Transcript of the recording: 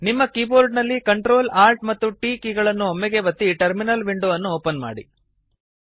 ನಿಮ್ಮ ಕೀಬೋರ್ಡ ನಲ್ಲಿ Ctrl Alt ಮತ್ತು T ಕೀ ಗಳನ್ನು ಒಮ್ಮೆಗೇ ಒತ್ತಿ ಟರ್ಮಿನಲ್ ವಿಂಡೊ ಅನ್ನು ಓಪನ್ ಮಾಡಿ